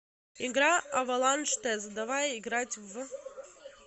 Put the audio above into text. игра аваланж тест давай играть в